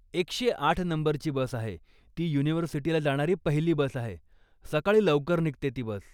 एकशे आठ नंबरची बस आहे, ती युनिव्हर्सिटीला जाणारी पहिली बस आहे, सकाळी लवकर निघते ती बस.